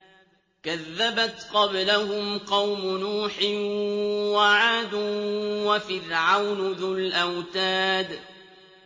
كَذَّبَتْ قَبْلَهُمْ قَوْمُ نُوحٍ وَعَادٌ وَفِرْعَوْنُ ذُو الْأَوْتَادِ